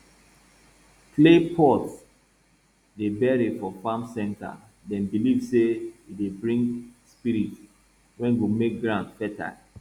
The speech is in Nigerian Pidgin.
clay pot dey bury for farm center dem believe say e dey bring spirit wey go make ground fertile